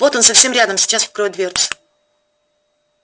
вот он совсем рядом сейчас откроет дверцу